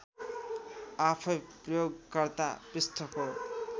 आफैँ प्रयोगकर्ता पृष्ठको